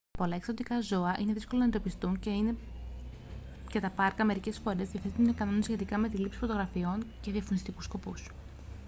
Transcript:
πολλά εξωτικά ζώα είναι δύσκολο να εντοπιστούν και τα πάρκα μερικές φορές διαθέτουν κανόνες σχετικά με τη λήψη φωτογραφιών για διαφημιστικούς σκοπούς